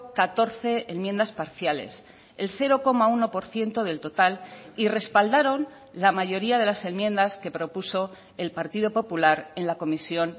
catorce enmiendas parciales el cero coma uno por ciento del total y respaldaron la mayoría de las enmiendas que propuso el partido popular en la comisión